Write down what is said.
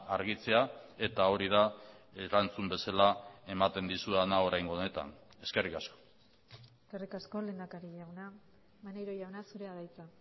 argitzea eta hori da erantzun bezala ematen dizudana oraingo honetan eskerrik asko eskerrik asko lehendakari jauna maneiro jauna zurea da hitza